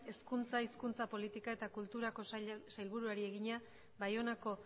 hezkuntza hizkuntza politika eta kulturako sailburuari egina baionako